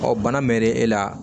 bana mɛnnen e la